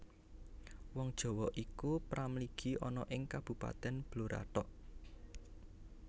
Wong Jawa iku pra mligi ana ing Kabupatèn Blora thok